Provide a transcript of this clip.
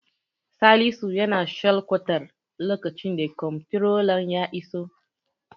Salisu yana shalkwatar lokacin the komtirolan ya iso.